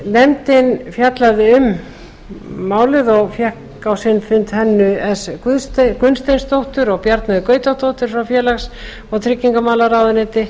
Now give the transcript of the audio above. nefndin fjallaði um málið og fengið á sinn fund hönnu s gunnsteinsdóttur og bjarnheiði gautadóttur frá félags og tryggingamálaráðuneyti